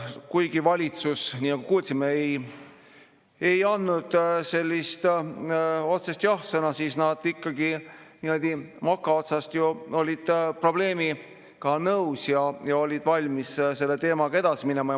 Kuigi valitsus, nii nagu kuulsime, ei andnud sellist otsest jah-sõna, siis nad ikkagi niimoodi mokaotsast ju olid probleemi nõus ja valmis selle teemaga edasi minema.